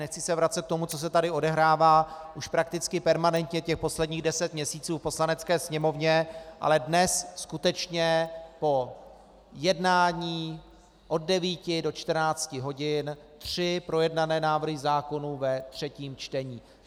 Nechci se vracet k tomu, co se tady odehrává už prakticky permanentně těch posledních deset měsíců v Poslanecké sněmovně, ale dnes skutečně po jednání od 9 do 14 hodin tři projednané návrhy zákonů ve třetím čtení.